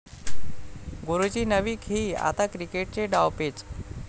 गुरूची नवी खेळी, आता क्रिकेटचे डावपेच!